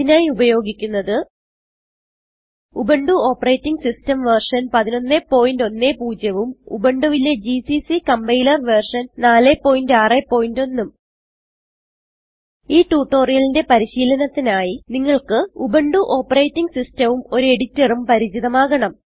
ഇതിനായി ഉപയോഗിക്കുന്നത് Ubuntu operating system version 1110 ഉം ഉബുണ്ടുവിലെ ജിസിസി കമ്പൈലർ വെർഷൻ 461 ഉം ഈ ട്യൂട്ടോറിയലിന്റെ പരിശീലനത്തിനായി നിങ്ങൾക്ക് ഉബുന്റു ഓപ്പറേറ്റിംഗ് സിസ്റ്റം ഉം ഒരു എഡിറ്റർ ഉം പരിചിതമാകണം